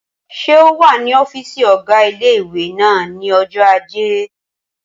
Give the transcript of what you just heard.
Ṣé o wà ní ọ́fìsì ọgá ilé-ìwé náà ní ọjọ́ ajé?